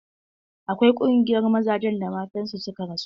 Akwai ƙungiyar mazajen da matan su suka rasu.